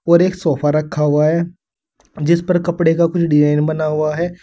और एक सोफा रखा हुआ है जिस पर कपड़े का कुछ डिजाइन बना हुआ है।